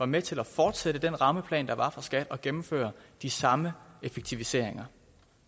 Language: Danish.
med til at fortsætte den rammeplan der var for skat og gennemføre de samme effektiviseringer